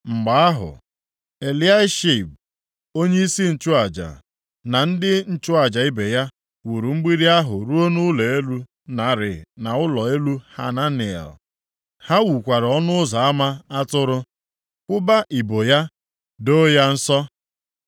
Mgbe ahụ, Eliashib onyeisi nchụaja na ndị nchụaja ibe ya wuru mgbidi ahụ ruo nʼụlọ elu Narị na ụlọ elu Hananel. Ha wukwara Ọnụ Ụzọ ama Atụrụ, kwụba ibo ya, doo ya nsọ.